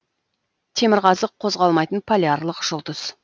темірқазық қозғалмайтын полярлық жұлдыз